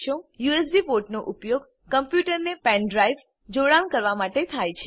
USB પોર્ટનો ઉપયોગ કમ્પ્યુટરને પેન ડ્રાઈવ જોડાણ કરવા માટે થાય છે